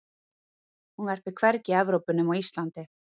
hún verpir hvergi í evrópu nema á íslandi